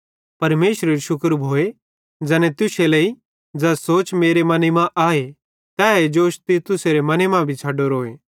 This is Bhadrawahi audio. परमेशरेरू शुक्र भोए ज़ैने तुश्शे लेइ ज़ै सोच मेरे मने मां आए तैए जोश तीतुसेरे मने मां छ़ड़ोरोए